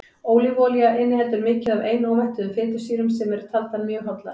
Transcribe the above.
ólífuolía inniheldur mikið af einómettuðum fitusýrum sem eru taldar mjög hollar